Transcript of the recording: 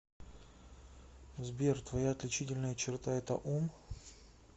сбер твоя отличительная черта это ум